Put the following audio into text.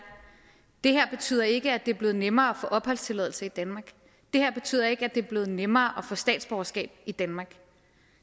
det her betyder ikke at det er blevet nemmere at få opholdstilladelse i danmark det her betyder ikke at det er blevet nemmere at få statsborgerskab i danmark